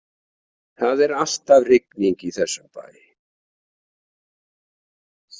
Það er alltaf rigning í þessum bæ.